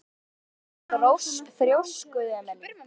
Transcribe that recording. Af hverju ertu svona þrjóskur, Emely?